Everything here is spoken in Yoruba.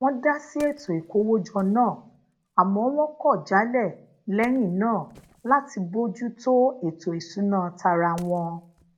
wón da si eto ìkówójọ náà àmó wón kò jálè leyin naa lati boju to eto isuna tara won